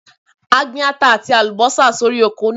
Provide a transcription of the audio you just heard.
A gbin ata àti àlùbọ́sà sí orí oko náà.